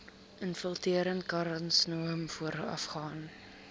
infiltrerende karsinoom voorafgaan